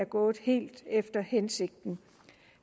gået helt efter hensigten